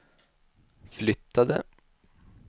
flyttade